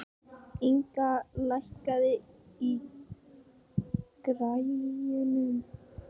Inga, lækkaðu í græjunum.